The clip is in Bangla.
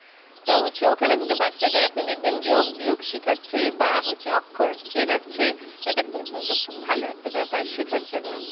তো হচ্ছে ওখানে কিন্তু বাচ্চাদের আপনি দেখবেন যোগ-বিয়োগ শেখাচ্ছে বা হচ্ছে অক্ষর চেনাচ্ছে। এটা কি কি কি কিন্তু খুব ভালো একটা ব্যাপার শেখার জন্য।